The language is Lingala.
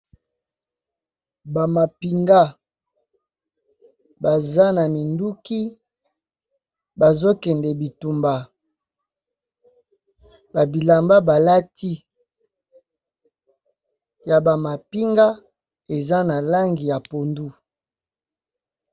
Ba mapinga baza na minduki bazo kende bitumba, ba bilamba balati ya ba mapinga eza na langi ya pondu.